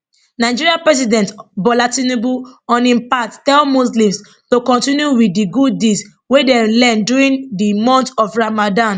nigeria president bola tinubu on im part tell muslims to kontinu wit di good deeds wey dem learn during di month of ramadan